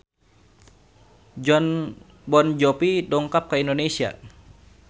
Jon Bon Jovi dongkap ka Indonesia